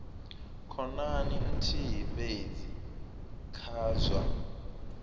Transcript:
khonani nthihi fhedzi kha zwa